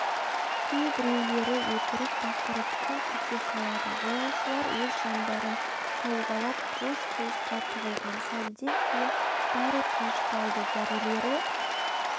кейбіреулері өкіріп-бақырып күмп ете қалады жолаушылар өз жандарын сауғалап қуыс-қуысқа тығылған сәлден кейін бәрі тынышталды зәрелері